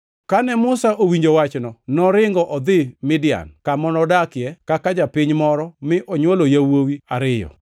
Kane Musa owinjo wachno, noringo odhi Midian, kama nodakie kaka japiny moro mi onywolo yawuowi ariyo.